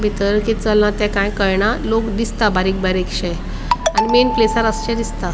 बितर कित चलला ते काय कळना लोक दिसता बारीक बारिक्शे आणि मेन आसचे दिसता.